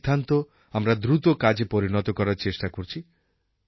এই সিদ্ধান্ত আমরা দ্রুত কাজে পরিনত করার চেষ্টা করছি